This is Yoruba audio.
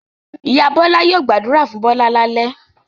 Ìyá Bọ́lá yóò gbàdúrà fún Bọ́lá lálẹ́.